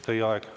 Teie aeg!